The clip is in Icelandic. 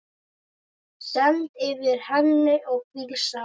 Stend yfir henni og hvísla.